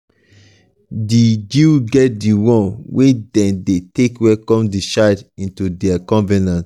di jews get the one wey dem de take welcome the child into their covenant